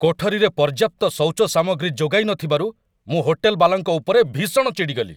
କୋଠରୀରେ ପର୍ଯ୍ୟାପ୍ତ ଶୌଚ ସାମଗ୍ରୀ ଯୋଗାଇ ନଥିବାରୁ ମୁଁ ହୋଟେଲ ବାଲାଙ୍କ ଉପରେ ଭୀଷଣ ଚିଡ଼ିଗଲି।